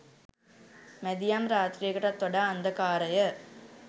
මැදියම් රාත්‍රියකටත් වඩා අන්ධකාරය